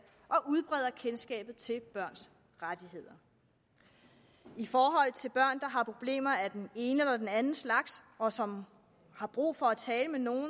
og udbreder kendskabet til børns rettigheder i forhold til børn der har problemer af den ene eller den anden slags og som har brug for at tale med nogen